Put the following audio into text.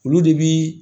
Olu de bi